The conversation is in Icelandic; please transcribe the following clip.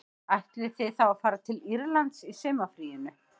Ætlið þið þá að fara til Írlands í sumarfríinu